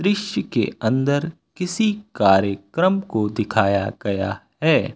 इसके अंदर किसी कार्य क्रम को दिखाया गया है।